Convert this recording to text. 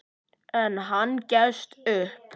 En hann gefst upp.